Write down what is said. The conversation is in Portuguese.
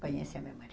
Conhece a memória.